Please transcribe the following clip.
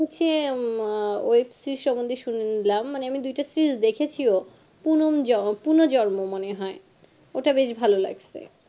ওসে উম আহ web-series এর সম্বন্ধে শুনে নিলাম মানে আমি দুইটা series দেখেছিও পুন জন পুনর জন্ম মনে হয় ওটা বেশ ভালো লাগছে